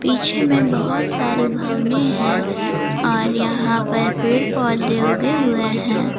पीछे में बहुत सारी भवनें हैं और यहां पर पेड़ पौधे उगे हुए हैं।